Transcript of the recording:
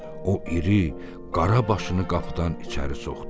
O iri, qara başını qapıdan içəri soxdu.